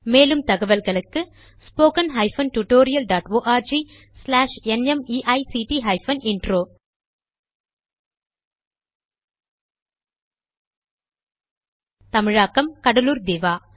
மேற்கொண்டு தகவல்களுக்கு spoken hyphen tutorial dot org slash NMEICT hyphen intro தமிழில் கடலூர் திவா